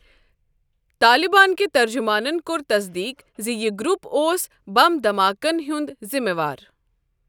طالبانٕکۍ ترجمانن کوٚر تصدیٖق ز یہ گروپ اوس بم دھماکن ہنٛد ذمہٕ وار۔